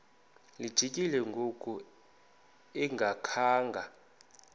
lijikile ngoku engakhanga